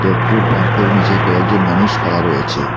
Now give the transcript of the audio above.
পেট্রোলপাম্পের নীচে কয়েকজন মানুষ খাড়া রয়েছে।